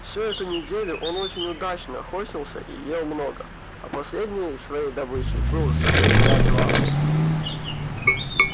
всю эту неделю он очень удачно охотился и ел много а последней своей добычей был сыт до отвала